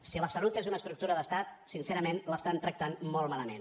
si la salut és una estructura d’estat sincerament l’estan tractant molt malament